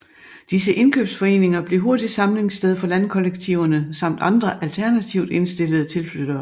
Disse indkøbsforeninger blev hurtigt samlingssted for landkollektiverne samt andre alternativt indstillede tilflyttere